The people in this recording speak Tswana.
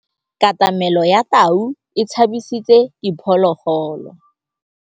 Katamêlô ya tau e tshabisitse diphôlôgôlô.